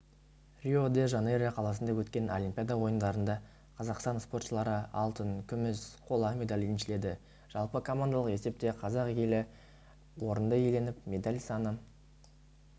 рио-де-жанейро қаласында өткен олимпиада ойындарында қазақстан спортшылары алтын күміс қола медаль еншіледі жалпы командалық есепте қазақ елі орынды иеленіп медаль саны